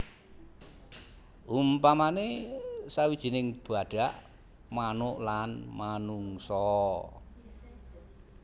Umpamane sawijining badak manuk lan manungsa